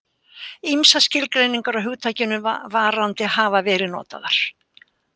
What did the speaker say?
Ýmsar skilgreiningar á hugtakinu varandi hafa verið notaðar.